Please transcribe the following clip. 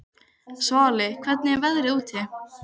Svali, hvernig er veðrið úti?